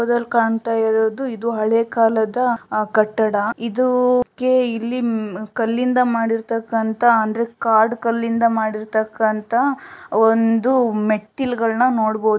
ಈ ಚಿತ್ರದಲ್ ಕಾಣ್ತಾ ಇರೋದು ಇದು ಹಳೆ ಕಾಲದ ಅಹ್ ಕಟ್ಟಡ. ಇದೂ ಕ್ಕೆ ಇಲ್ಲಿ ಕಲ್ಲಿಂದ ಮಾಡಿರ್ತಕಂತ ಅಂದ್ರೆ ಕಾಡ್ ಕಲ್ಲಿಂದ ಮಾಡಿರ್ತಕಂತ ಒಂದು ಮೆಟ್ಟಿಲ್ಗಳನ್ನ ನೋಡ್ಬೋದು.